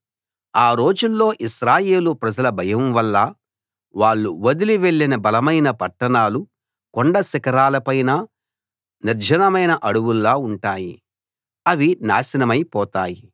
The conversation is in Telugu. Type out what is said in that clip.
ఆ రోజుల్లో ఇశ్రాయేలు ప్రజల భయం వల్ల వాళ్ళు వదిలి వెళ్ళిన బలమైన పట్టణాలు కొండ శిఖరాల పైన నిర్జనమైన అడవుల్లా ఉంటాయి అవి నాశనమై పోతాయి